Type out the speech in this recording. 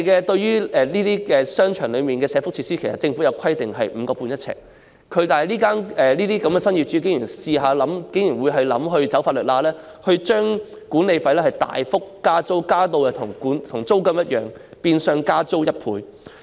對於商場內的社福設施，政府規定每平方呎的租金是 5.5 元，但新業主竟然設法鑽法律空子，大幅增加管理費至與租金水平相若，變相加租1倍。